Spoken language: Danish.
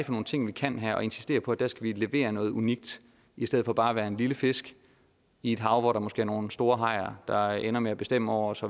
nogle ting vi kan her og insistere på at der skal vi levere noget unikt i stedet for bare at være en lille fisk i et hav hvor der måske er nogle store hajer der ender med at bestemme over os